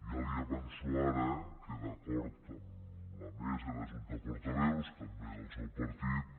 ja li avanço ara que d’acord amb la mesa i la junta de portaveus també del seu partit